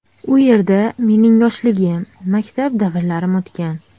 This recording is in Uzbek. U yerda mening yoshligim, maktab davrlarim o‘tgan.